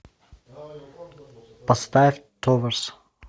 поставь товерс